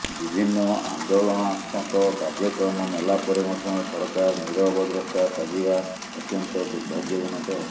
ବିଭିନ୍ନ ଆନ୍ଦୋଳନାତ୍ମକ କାର୍ଯ୍ୟକ୍ରମ ନେଲା ପରେ ମଧ୍ୟ ସରକାର ନୀରବ ଦ୍ରଷ୍ଟା ସାଜିବା ଅତ୍ୟନ୍ତ ଦୁର୍ଭାଗ୍ୟ ଜନକ